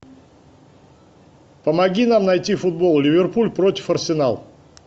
помоги нам найти футбол ливерпуль против арсенал